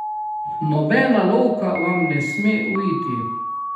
Nobena lovka vam ne sme uiti!